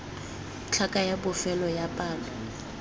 tlhaka ya bofelo ya palo